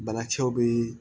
Banakisɛw bɛ yen